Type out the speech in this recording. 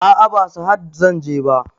A'a ba sahad zanje ba